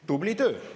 Tubli töö!